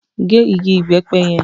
Gé igi ìbẹ́pẹ yẹn!